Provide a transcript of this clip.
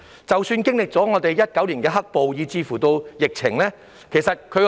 即使經歷2019年的"黑暴"及疫情，樓價依然企穩。